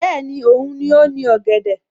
Bẹ́ẹ̀ni, Òun ni ó ní ọ̀gẹ̀dẹ̀